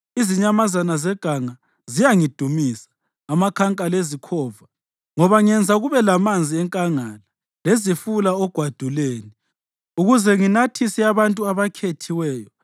Izinyamazana zeganga ziyangidumisa; amakhanka lezikhova, ngoba ngenza kube lamanzi enkangala lezifula ogwaduleni ukuze nginathise abantu abakhethiweyo,